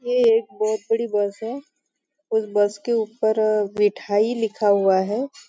यह एक बहुत बड़ी बस है उस बस के ऊपर विठाई लिखा हुआ है।